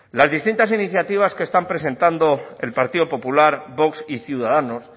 las distintas iniciativas que están presentando el partido popular vox y ciudadanos